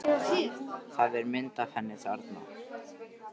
Það er mynd af henni þarna.